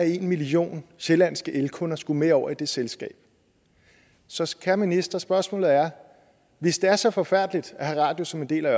en million sjællandske elkunder skulle med over i det selskab så så kære minister spørgsmålet er hvis det er så forfærdeligt at have radius som en del af